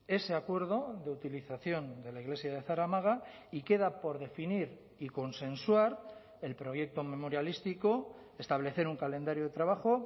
ese acuerdo de utilización de la iglesia de zaramaga y queda por definir y consensuar el proyecto memorialístico establecer un calendario de trabajo